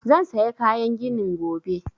Zan saya kayan ginin gobe